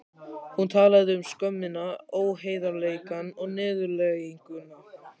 Hún talaði um skömmina, óheiðarleikann og niðurlæginguna.